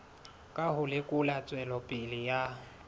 ka ho lekola tswelopele ya